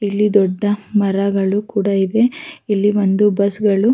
ಇಲ್ಲಿ ದೊಡ್ಡ ಮರಗಳು ಕೂಡ ಇದೆ ಇಲ್ಲಿ ಒಂದು ಬಸ್ ಗಳು--